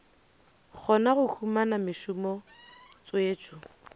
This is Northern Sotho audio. kgona go humana mešomo tswetšo